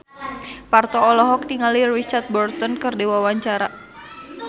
Parto olohok ningali Richard Burton keur diwawancara